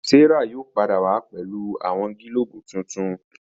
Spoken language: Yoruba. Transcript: Serah yóò pàdà wá pẹlu awọn gilobu tintun.